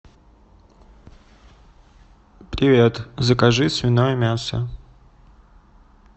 привет закажи свиное мясо